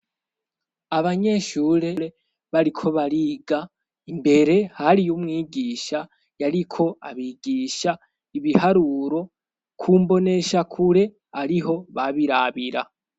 Abanyeshurere bariko bariga, imbere hariyo umwigisha yariko abigisha ibiharuro ku mboneshakure ariho babirabira.